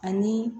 Ani